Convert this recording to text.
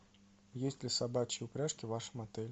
есть ли собачьи упряжки в вашем отеле